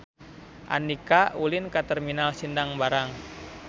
Andika ulin ka Terminal Sindang Barang